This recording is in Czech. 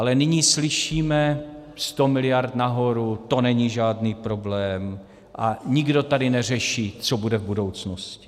Ale nyní slyšíme: 100 miliard nahoru, to není žádný problém, a nikdo tady neřeší, co bude v budoucnosti.